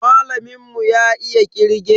Malamin mu ya iya kirge.